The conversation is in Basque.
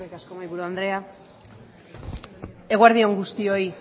asko mahaiburu andrea eguerdi on guztioi